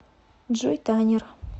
джой танир